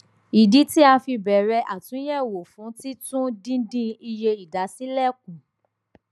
ìdí tí a fi bẹrẹ àtúnyẹwò fún títún dídín iye ìdásílẹ kù